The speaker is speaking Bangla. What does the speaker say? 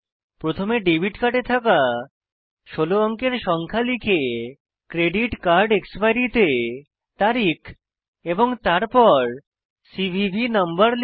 প্রথমে ডেবিট কার্ডে থাকা 16 অঙ্কের সংখ্যা লিখে ক্রেডিট কার্ড এক্সপাইরি তে তারিখ এবং তারপর সিভিভি নাম্বার লিখুন